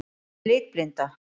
Hvað er litblinda?